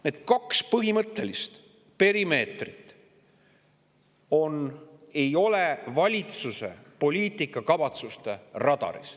Need kaks põhimõttelist perimeetrit ei ole valitsuse poliitikakavatsuste radaril.